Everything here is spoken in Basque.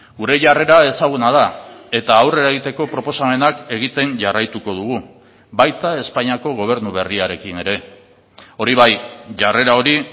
gure jarrera ezaguna da eta aurrera egiteko proposamenak egiten jarraituko dugu baita espainiako gobernu berriarekin ere hori bai jarrera hori